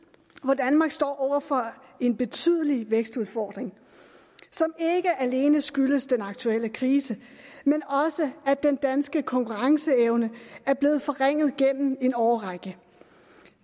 hvor danmark står over for en betydelig vækstudfordring som ikke alene skyldes den aktuelle krise men også at den danske konkurrenceevne er blevet forringet gennem en årrække